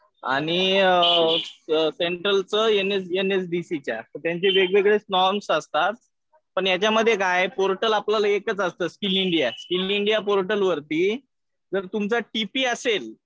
आणि सेंट्रलच एनएसबीसी च्या. त्यांचे वेगवेगळे नॉर्म्स असतात. पण यांच्यामध्ये काय पोर्टल आपल्याला एकच असतं स्किल इंडिया. स्किल इंडिया पोर्टलवरती जर तुमचा टी पी असेल